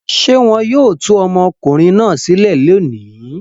Ṣé wọn yóò tú ọmọkùnrin náà sílẹ̀ lónìí?